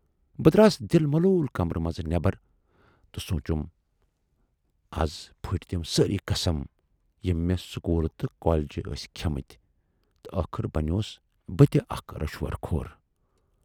بہٕ دراس دِل ملوٗل کمرٕ منز نٮ۪بر تہٕ سونچُم، اَز پھُٹۍ تِم سٲری قسم یِم میہ سکوٗلہٕ تہٕ کالیجہِ ٲسۍ کھیے مٕتۍ تہٕ ٲخر بنیوس بہٕ تہِ اکھ رُشوٕ خور